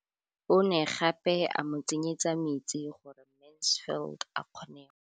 O ne gape a mo tsenyetsa metsi gore Mansfield a kgone go lema.